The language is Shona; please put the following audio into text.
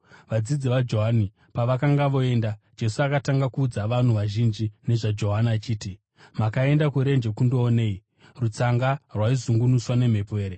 Vadzidzi vaJohani pavakanga voenda, Jesu akatanga kuudza vanhu vazhinji nezvaJohani achiti, “Makaenda kurenje kundoonei? Rutsanga rwaizungunuswa nemhepo here?